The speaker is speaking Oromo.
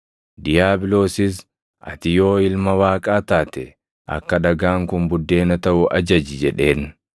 Diiyaabiloosis, “Ati yoo Ilma Waaqaa taate, akka dhagaan kun buddeena taʼu ajaji” jedheen.